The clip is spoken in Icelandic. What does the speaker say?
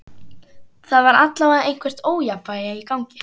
Það var allavega eitthvert ójafnvægi í gangi.